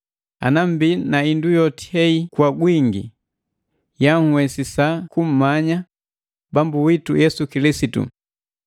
Ana mmbi na hindu yoti hei kwa gwingi, yanhuwesisa kumanya Bambu witu Yesu Kilisitu.